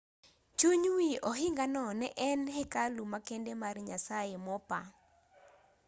chuny wi ohingano ne en hekalu makende mar nyasaye mopa